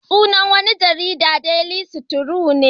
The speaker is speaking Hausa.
Sunan wani jarida daily trust ne